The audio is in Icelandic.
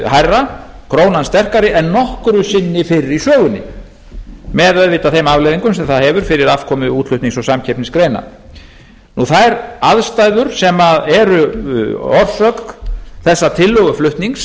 hærra krónan sterkari en nokkru sinni fyrr í sögunni með auðvitað þeim afleiðingum sem það hefur fyrir afkomu útflutnings og samkeppnisgreina þær aðstæður sem eru orsök þessa tillöguflutnings